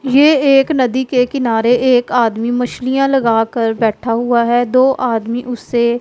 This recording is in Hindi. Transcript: ये एक नदी के किनारे एक आदमी मछलियां लगाकर बैठा हुआ हैं दो आदमी उससे--